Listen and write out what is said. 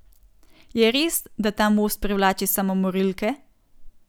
Je res, da ta most privlači samomorilke?